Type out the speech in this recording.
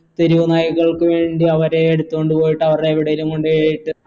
തെരുവു നായികൾക്ക് വേണ്ടി അവരെ എടുത്തോണ്ട് പോയിട്ട് അവരെ എവിടേലും കൊണ്ടുപോയിട്ട്